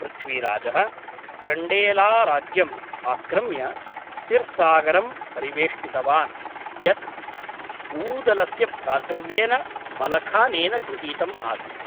पृथ्वीराजः चण्डेलाराज्यम् आक्रम्य सिर्सागरं परिवेष्टितवान्, यत् ऊदलस्य भ्रातृव्येन मलखानेन गृहीतम् आसीत्।